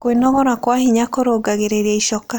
Kwĩnogora gwa hinya kũrũngagĩrĩrĩa icoka